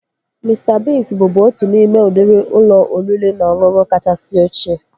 Mista Biigz bụbu otu n'ime udịri ụlọ oriri na ọṅụṅụ kachasị ochie